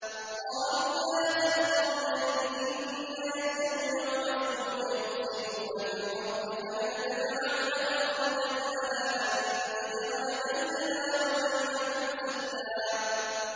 قَالُوا يَا ذَا الْقَرْنَيْنِ إِنَّ يَأْجُوجَ وَمَأْجُوجَ مُفْسِدُونَ فِي الْأَرْضِ فَهَلْ نَجْعَلُ لَكَ خَرْجًا عَلَىٰ أَن تَجْعَلَ بَيْنَنَا وَبَيْنَهُمْ سَدًّا